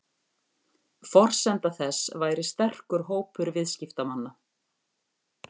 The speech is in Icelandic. Forsenda þess væri sterkur hópur viðskiptamanna